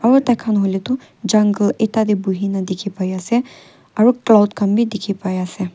tar khan hoile tu jungle ekta te bohe kina dekhi pai ase aru cloud khan bhi dekhi pai ase.